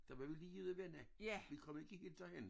Der var vi lige ude at vende vi kom ikke derhen